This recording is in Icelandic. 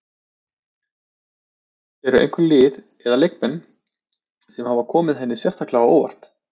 Eru einhver lið eða leikmenn sem hafa komið henni sérstaklega á óvart?